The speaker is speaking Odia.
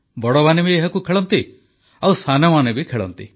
ବଡ଼ମାନେ ବି ଏହାକୁ ଖେଳନ୍ତି ଓ ସାନମାନେ ବି ଖେଳନ୍ତି